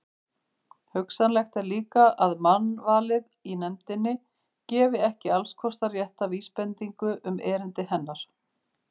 Hugsanlegt er líka, að mannvalið í nefndinni gefi ekki allskostar rétta vísbendingu um erindi hennar.